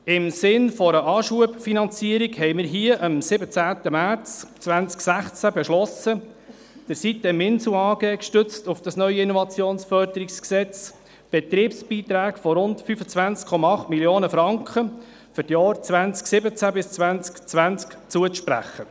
Im Sinne einer Anschubfinanzierung hatten wir hier am 27. März 2016, gestützt auf das neue IFG, beschlossen, der sitem-Insel AG Betriebsbeiträge von rund 25,8 Mio. Franken für die Jahre 2017–2020 zuzusprechen.